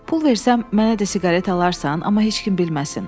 Pul versəm mənə də siqaret alarsan, amma heç kim bilməsin.